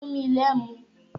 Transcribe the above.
Fún mi l'ẹ́mu!